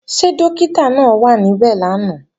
Ṣé Dọ́kítà náà wà níbẹ̀ lánàá?